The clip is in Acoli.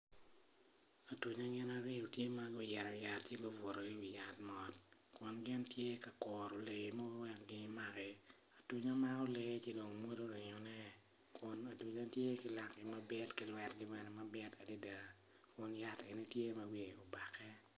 Atunya gin aryo gitye ma oyito yat ci gubuto woko mot kun gin tye ka kuro lee mogo wek gin maki atunya gin mako lee ka dong gimodo ringone kun atunya tye ki lagi ki lwetgi mabit adada.